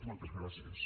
moltes gràcies